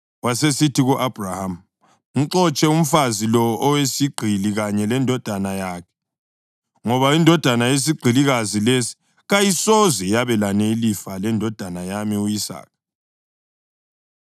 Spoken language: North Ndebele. wasesithi ku-Abhrahama, “Mxotshe umfazi lo oyisigqili kanye lendodana yakhe, ngoba indodana yesigqilikazi lesi kayisoze yabelana ilifa lendodana yami u-Isaka.”